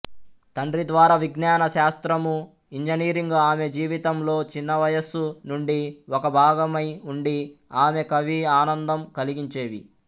తండ్రిద్వారా విజ్ఞాన శాస్త్రము ఇంజనీరింగ్ ఆమె జీవితంలో చిన్నవయసు నుండి ఒకభాగమై ఉండి ఆమెకవి ఆనందం కలిగించేవి